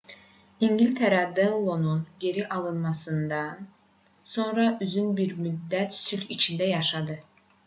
i̇ngiltərə denlonun geri alınmasından sonra uzun bir müddət sülh içində yaşadı